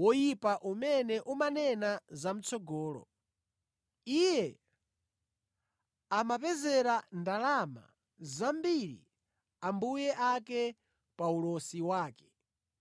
woyipa umene umanena zamʼtsogolo. Iye amapezera ndalama zambiri ambuye ake pa ulosi wake.